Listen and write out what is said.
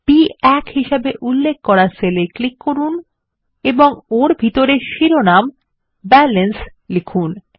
B1 হিসেবে উল্লেখ করা সেল এ ক্লিক করুন এবং ওর ভিতরে শিরোনাম ব্যালান্স লিখুন